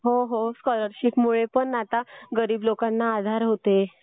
हो हो स्कॉलरशिपमुळे पण आता गरीब लोकांना आधार होतोय.